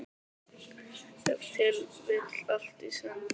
Ef til vill allt í senn.